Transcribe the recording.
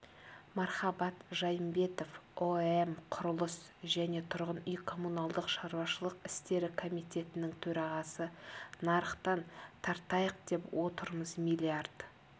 мархабат жайымбетов ұэм құрылыс және тұрғын үй-коммуналдық шаруашылық істері комитетінің төрағасы нарықтан тартайық деп отырмыз миллиард